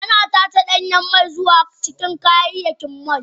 Ana tace danyen mai zuwa cikin kayayyakin mai.